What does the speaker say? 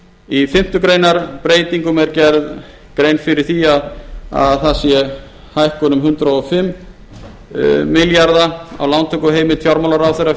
í fimmtu grein breytingum er gerð grein fyrir því að það sé hækkun um hundrað og fimm milljarða á lántökuheimild fjármálaráðherra